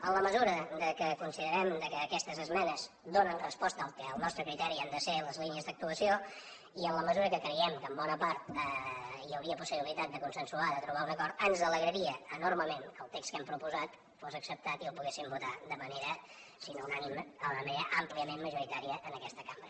en la mesura que considerem que aquestes esmenes donen resposta al que al nostre criteri han de ser les línies d’actuació i en la mesura que creiem que en bona part hi hauria possibilitat de consensuar de trobar un acord ens alegraria enormement que el text que hem proposat fos acceptat i el poguéssim votar de manera si no unànime àmpliament majoritària en aquesta cambra